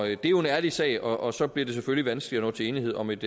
er jo en ærlig sag og og så bliver det selvfølgelig vanskeligt at nå til enighed om et